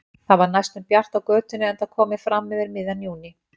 Það var næstum bjart á götunni enda komið fram yfir miðjan júní.